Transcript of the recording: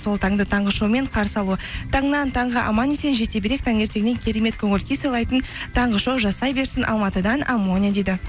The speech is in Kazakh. сол таңды таңғы шоумен қарсы алу таңнан таңға аман есен жете берейік таңертеңнен керемет көңіл күй сыйлайтын таңғы шоу жасай берсін алматыдан амония дейді